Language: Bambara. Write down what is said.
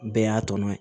Bɛɛ y'a tɔmɔ ye